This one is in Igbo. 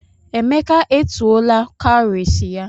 Emeka etuola cowries ya.